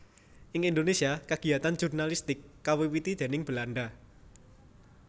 Ing Indonésia kagiatan jurnalistik kawiwiti déning Belanda